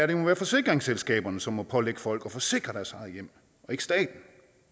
det må være forsikringsselskaberne som må pålægge folk at forsikre deres eget hjem og ikke staten